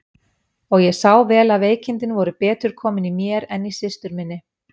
Og ég sá vel að veikindin voru betur komin í mér en í systur minni.